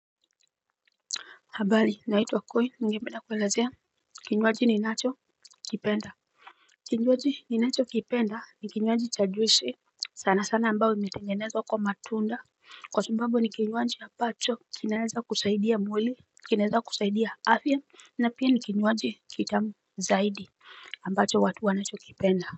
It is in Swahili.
Habari naitwa Koi, ningependa kuelezea kinyuaji ninacho kipenda. Kinyuaji ni nacho kipenda ni kinyuaji cha juisi, sana sana ambayo imetengenezwa kwa matunda, kwa sababu ni kinyuaji ambacho kinaweza kusaidia mwili, kinaweza kusaidia afya na pia ni kinyuaji kitamu zaidi ambacho watu wanacho kipenda.